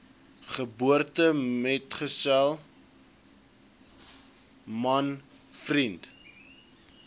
geboortemetgesel man vriend